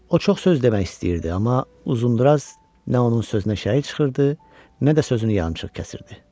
O çox söz demək istəyirdi, amma Uzundraz nə onun sözünə şərik çıxırdı, nə də sözünü yarımçıq kəsirdi.